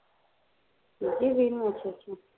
ਦੂਜੀ ਵੀਹ ਨੂ ਅੱਛਾ ਅੱਛਾ